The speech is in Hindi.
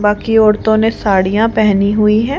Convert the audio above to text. बाकी औरतों ने साड़ियां पहनी हुई है।